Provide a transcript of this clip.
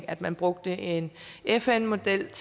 at man brugte en fn model